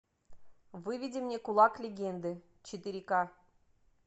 выведи мне кулак легенды четыре ка